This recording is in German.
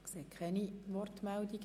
Ich sehe keine Wortmeldungen.